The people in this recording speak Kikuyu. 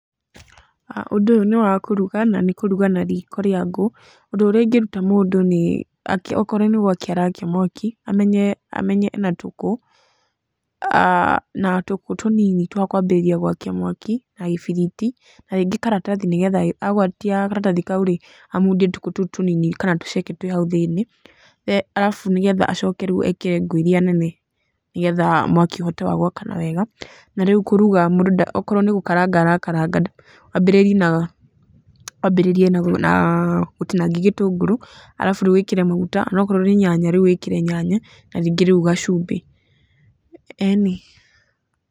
Ũndũ ũyũ nĩ wa kũruga, na nĩ kũruga na riko rĩa ngũ. Ũndũ ũrĩa ĩngeruta mũndũ nĩ okorwo nĩ gũakia arakia mwaki, amenye ena tũkũ, uh na tũkũ tũnini twa kũambĩrĩria gũakia mwaki na gĩbiriti na rĩngĩ karatathi, nĩgetha agwatia karatathi kau-rĩ amundie tũkũ tũũ tũnini kana tũceke twĩ hau thĩiniĩ, alafu nĩgetha acoke ekĩre ngũ iria nene, nĩgetha mwaki ũhote wa gũakana wega na rĩu kũruga, okorwo ni gũkaranga arakaranga, wambĩrĩrie na gũtinangia gĩtũngũrũ, alafu riũ wĩkĩre maguta, onakorwo nĩ nyanya rĩu wĩkĩre nyanya, na ningĩ rĩu gacumbi, ĩni.